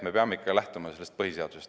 Me peame ikkagi lähtuma põhiseadusest.